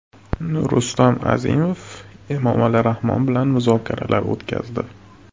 Rustam Azimov Emomali Rahmon bilan muzokaralar o‘tkazdi.